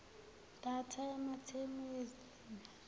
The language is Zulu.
data yamatemu ezilimi